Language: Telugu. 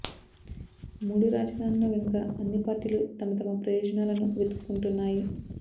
మూడు రాజధానుల వెనుక అన్ని పార్టీలు తమ తమ ప్రయోజనాలను వెతుక్కుంటున్నాయి